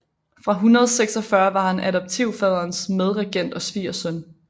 Fra 146 var han adoptivfaderens medregent og svigersøn